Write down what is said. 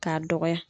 K'a dɔgɔya